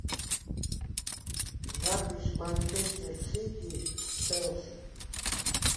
запись манчестер сити с челси